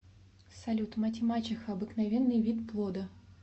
салют мать и мачеха обыкновенная вид плода